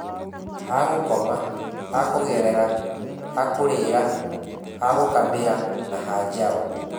hagũkoma, hakũgerera, hakũrĩra, hagũkamĩra na hajaũ.